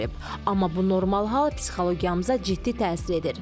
Amma bu normal hal psixologiyamıza ciddi təsir edir.